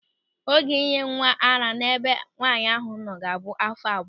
Oge ịnye nwa ara n'ebe nwaanyị ahụ nọ ga-abụ áfọ̀ abụọ.